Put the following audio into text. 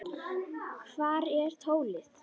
Hvar er Tóti?